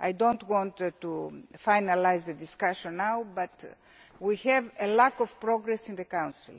I do not want to finalise the discussion now, but we have a lack of progress in the